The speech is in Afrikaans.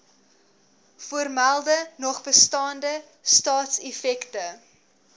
voormelde nogbestaande staatseffekte